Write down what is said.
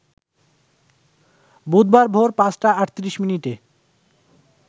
বুধবার ভোর ৫টা ৩৮ মিনিটে